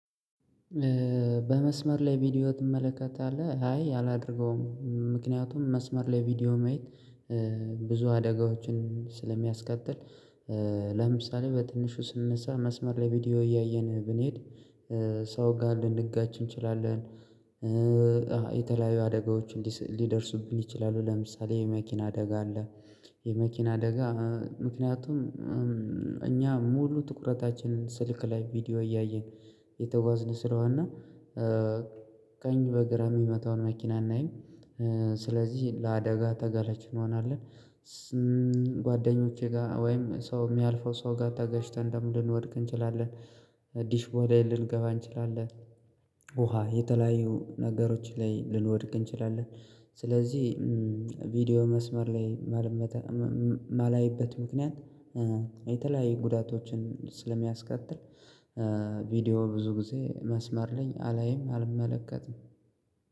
በመስመር ላይ ቪዲዮ ትመለከታለህ? አይ አላደርገውም። ምክንያቱም መስመር ላይ ቪዲዮ ማየት ብዙ አደጋዎችን ስለሚያስከትል። ለምሳሌ በትንሹ ስንነሳ መስመር ላይ ቪዲዮ እያየን ብንሄድ ሰው ጋር ልንጋጭ እንችላለን። የተለያዩ አደጋዎች እንዲደርሱብኝ ይችላሉ። ለምሳሌ የመኪና አደጋ አለ። የመኪና አደጋ። ምክንያቱም እኛ ሙሉ ትኩረታችንን ስልክ ላይ ቪዲዮ እያየን እየተጓዝን ስለሆነ እና ቀኝ በግራ የሚመጣውን መኪና አናይም። ስለዚህ ለአደጋ ተጋላጭ እንሆናለን። ጓደኞቼ ጋር ወይም ሰው የሚያልፈው ሰው ጋር ተጋጭተን ልንወድቅ እንችላለን። ዲሽ ቦሌን ልንገባ እንችላለን። ውሃ የተለያዩ ነገሮች ላይ ልንወድቅ እንችላለን። ስለዚህ ቪዲዮ መስመር ላይ ማላይበት ምክንያት የተለያዩ ጉዳቶችን ስለሚያስከትል። ቪዲዮ ብዙ ጊዜ መስመር ላይ አላይም አልመለከትም።